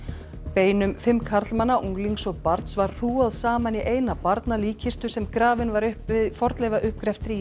beinum fimm karlmanna unglings og barns var hrúgað saman í eina sem grafin var upp í fornleifauppgreftri í